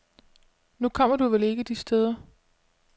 Nu kommer du vel ikke de steder.